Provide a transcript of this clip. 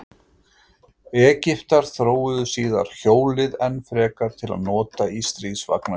Egyptar þróuðu síðar hjólið enn frekar til að nota í stríðsvagna sína.